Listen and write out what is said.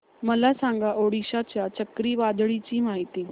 मला सांगा ओडिशा च्या चक्रीवादळाची माहिती